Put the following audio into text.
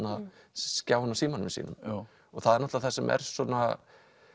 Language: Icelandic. skjáinn á símanum sínum það er náttúrulega það sem er svona